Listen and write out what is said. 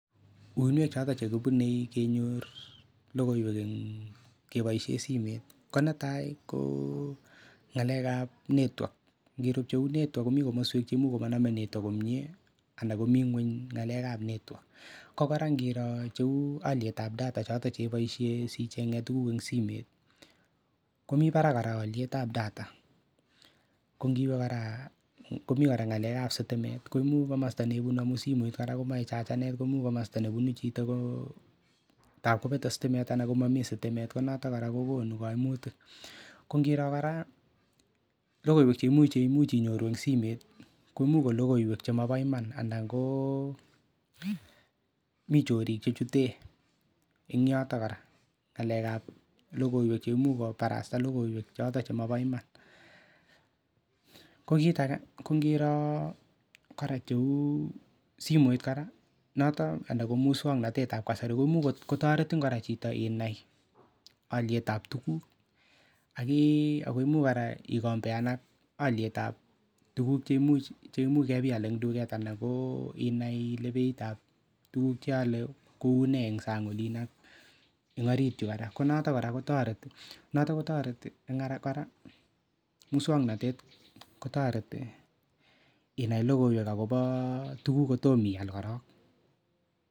Uinwek choton che kibunei kenyor logoiwek eng keboisien simet ko netai koo ng'alekab network, ngiro cheu network komii komoswek chemuch komonomee network komie ala komii ngweny ng'alekab network ko kora ngiroo alyetab data cheboisien sicheng'ee tuguk en simet komii barak alyetab data, komi kora komii ngalekab sitimet, koimuch komosta neibunu amun simet kora komoe chachenet komuch komosta nebu chitoo koo tab kobete sitimet anan komomii sitimet konotok kora kokonu koimutik ,kongiroo kora logoiwek cheimuch, cheimuch inyoru en simet koimuch ko logoiwek chemobo iman anaa ngoo mi chorik chechuten eng yoto kora ng'alekab logoiwek cheimuch kobarasta logoiwek choton chemobo iman, ko kit ake ko ngiroo tuguk cheu simoit kora notok anan ko muswoknotetab kasari koimuch kotoretin kora chito inai alyetab tuguk akii ako imuch kora ikombean ak alyetab tuguk cheimuch kebial en duket anan inai beitab tuguk cheale kounee en sang olin noo en orit yu koraa ko noto kora kotoret en ngoraa muswoknotet kotoreti inai logoiwek akobo tuguk kotom ial korong.